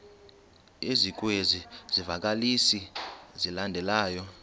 ezikwezi zivakalisi zilandelayo